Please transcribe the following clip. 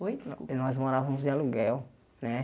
Oi descul eh nós morávamos de aluguel, né?